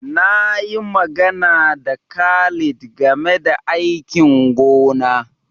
Na yi magana da Khalid game da aikin gona.